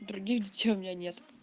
других детей у меня нет